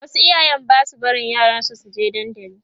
wasu iyayen Basu barin yaran su suke dandali